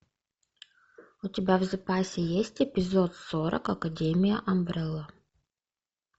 у тебя в запасе есть эпизод сорок академия амбрелла